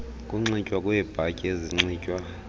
ukunxitywa kweebhatyi ezinxitywa